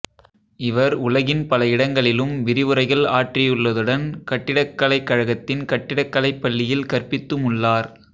இவர் உலகின் பல இடங்களிலும் விரிவுரைகள் ஆற்றியுள்ளதுடன் கட்டிடக்கலைக் கழகத்தின் கட்டிடக்கலைப் பள்ளியில் கற்பித்தும் உள்ளார்